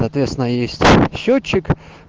соответственно есть счётчик